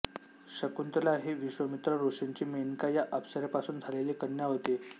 शकुंतला ही विश्वामित्र ऋषींची मेनका या अप्सरेपासून झालेली कन्या होती